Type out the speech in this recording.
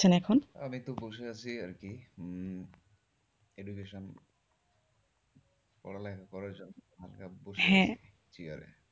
এখন, আমি একটু বসে আছি আরকি উম education পড়ালেখা করার জন্য হ্যাঁ।